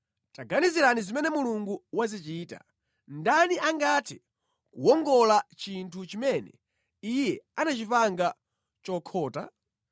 Taganizirani zimene Mulungu wazichita: ndani angathe kuwongola chinthu chimene Iye anachipanga chokhota?